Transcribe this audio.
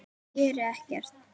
Geri ekkert.